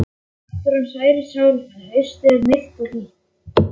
Náttúran nærir sálina Haustið er milt og hlýtt.